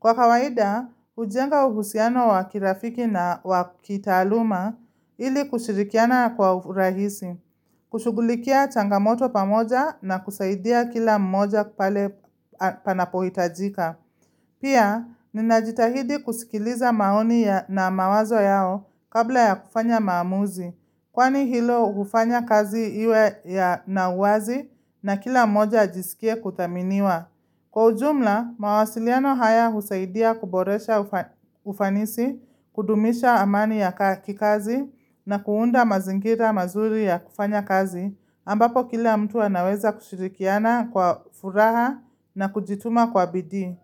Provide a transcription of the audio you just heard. Kwa kawaida, hujenga uhusiano wa kirafiki na wa kitaaluma ili kushirikiana kwa urahisi, kushugulikia changamoto pamoja na kusaidia kila mmoja pale panapohitajika. Pia, ninajitahidi kusikiliza maoni na mawazo yao kabla ya kufanya maamuzi, kwani hilo hufanya kazi iwe ya na uwazi na kila mmoja ajisikie kudhaminiwa. Kwa ujumla, mawasiliano haya husaidia kuboresha ufanisi, kudumisha amani ya kikazi na kuunda mazingira mazuri ya kufanya kazi, ambapo kila mtu anaweza kushirikiana kwa furaha na kujituma kwa bidii.